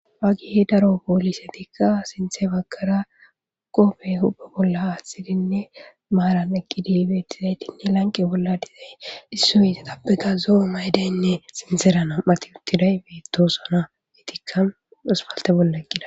wagihi daro poolise tikka sinthe baggara qofe hubbe bolla aaththidinne maaran eqidi beettizaytinne lanqe bolla dizay issoy satappeka zo7o maydaynne sinsera nam7ati uttiday beettosona ditikka duspalte bolla eqqida